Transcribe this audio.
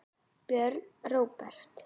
Björn Róbert.